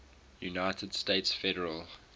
united states federal